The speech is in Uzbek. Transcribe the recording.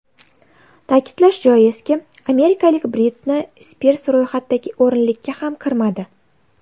Ta’kidlash joizki, amerikalik Britni Spirs ro‘yxatdagi o‘nlikka ham kirmadi.